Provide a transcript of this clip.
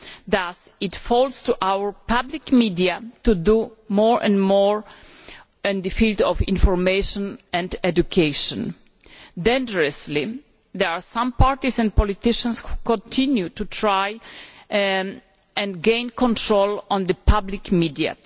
Thus, it falls to our public media to do more and more in the field of information and education. Dangerously, there are some parties and politicians who continue to try to gain control over the public media.